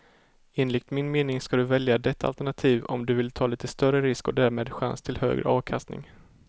Enligt min mening ska du välja detta alternativ om du vill ta lite större risk och därmed chans till högre avkastning.